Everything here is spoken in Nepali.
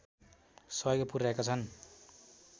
सहयोग पुर्‍याएका छन्